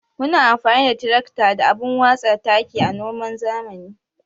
Muna amfani da tirakta da abun watsa taki a noman zamani.